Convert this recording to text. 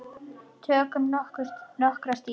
Tökum nokkrar dýfur!